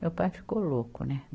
Meu pai ficou louco, né?